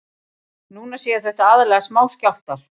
Núna séu þetta aðallega smáskjálftar